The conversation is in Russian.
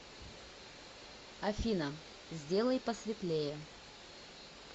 афина сделай посветлее